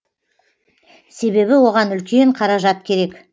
себебі оған үлкен қаражат керек